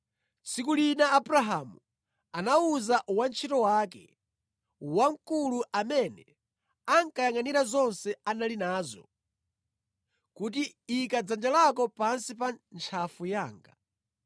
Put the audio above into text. Tsiku lina Abrahamu anawuza wantchito wake wamkulu amene ankayangʼanira zonse anali nazo, kuti “Ika dzanja lako pansi pa ntchafu yanga.